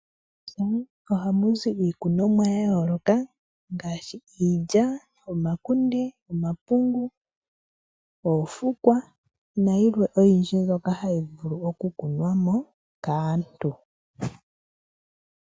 Moofaalama ohamu zi iikunomwa yayooloka ngaashi, iilya, omakunde, omapungu, oofukwa nayilwe oyindji mbyoka hayi vulu okukunwa mo kaantu.